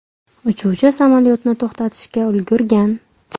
Uchuvchi samolyotni to‘xtatishga ulgurgan.